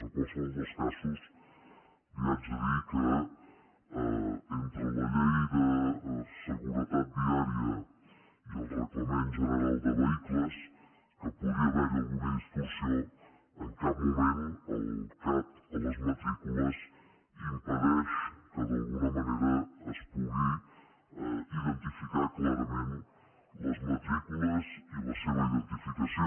en qualsevol dels casos li haig de dir que entre la llei de seguretat viària i el reglament general de vehicles que podria haver hi alguna distorsió en cap moment el cat a les matrícules impedeix que d’alguna manera es pugui identificar clarament les matrícules i la seva identificació